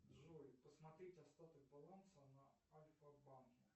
джой посмотреть остаток баланса на альфа банке